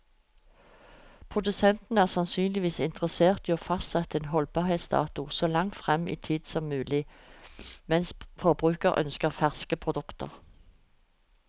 Produsenten er sannsynligvis interessert i å fastsette en holdbarhetsdato så langt frem i tid som mulig, mens forbruker ønsker ferske produkter.